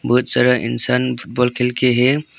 कुछ सारा इंसान फुटबॉल खेल के है।